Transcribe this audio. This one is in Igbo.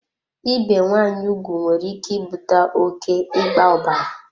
Ibe nwaanyị ugwu nwere ike ibute oké ịgba ọbara.